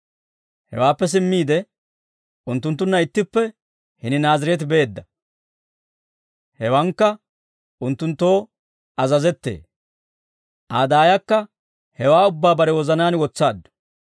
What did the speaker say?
Hewaappe simmiide, unttunttunna ittippe hini Naazireete beedda; hewankka unttunttoo azazettee. Aa daayakka hewaa ubbaa bare wozanaan wotsaaddu.